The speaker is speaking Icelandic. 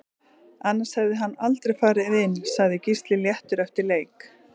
Annars hefði hann aldrei farið inn Sagði Gísli léttur eftir leik